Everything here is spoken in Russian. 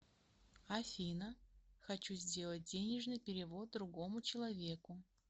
афина хочу сделать денежный перевод другому человеку